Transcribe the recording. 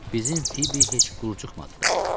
Bizim Fibi heç qurucuq matdı da.